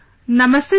Namaste sir